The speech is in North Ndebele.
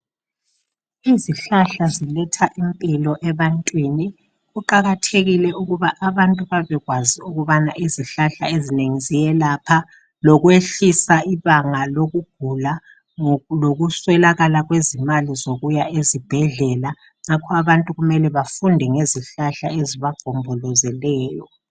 Izihlahla ziletha impilo ebantwini. Kuqakathekile ukuba abantu babekwazi ukubana izihlahla ezinengi ziyelapha, lokwehlisa ibanga lokugula lokuswelakala kwezimali zokuya ezibhedlela. Ngakho abantu kumele bafunde ngezihlahla ezibagombolozeleyo.